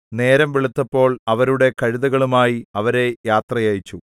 നേരം വെളുത്തപ്പോൾ അവരുടെ കഴുതകളുമായി അവരെ യാത്ര അയച്ചു